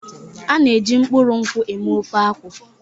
A na-eji mkpụrụ nkwụ eme ofe akwu.